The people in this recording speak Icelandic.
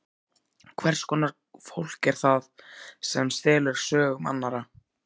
Hvers konar fólk er það sem stelur sögum annarra?